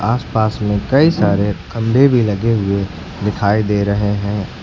आसपास में कई सारे खंबे भी लगे हुए दिखाई दे रहे हैं।